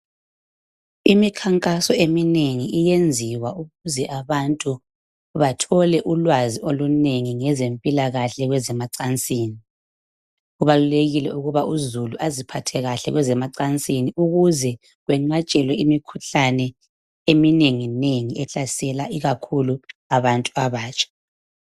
Imikhankaso eminengi iyenziwa ukuze abantu bathole ulwazi olunengi, ngezempilakahle kwezemacansini. Kubalulekile ukuba uzulu, aziphathe kahle kwezemacansini. Ukuze kwenqatshelwe imikhuhlane eminenginengi, ehlasela, ikakhulu abantu abatsha.